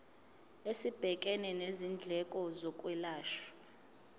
esibhekene nezindleko zokwelashwa